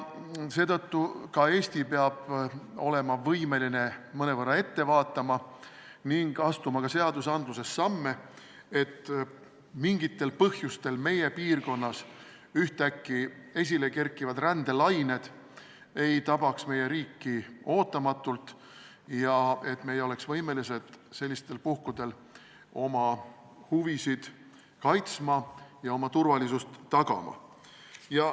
Seetõttu peab ka Eesti olema võimeline mõnevõrra ette vaatama ning astuma ka seadusandluses samme, et mingitel põhjustel meie piirkonnas ühtäkki esilekerkivad rändelained ei tabaks meie riiki ootamatult ja et me oleks võimelised sellistel puhkudel oma huvisid kaitsma ja oma turvalisust tagama.